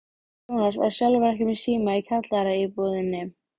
Jónas var sjálfur ekki með síma í kjallaraíbúðinni.